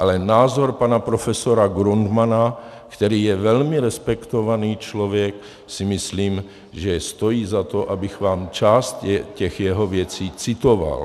Ale názor pana profesora Grundmanna, který je velmi respektovaný člověk, si myslím, že stojí za to, abych vám část těch jeho věcí citoval.